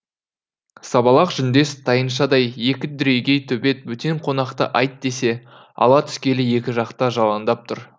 сабалақ жүндес тайыншадай екі дүрегей төбет бөтен қонақты айт десе ала түскелі екі жақта жалаңдап тұр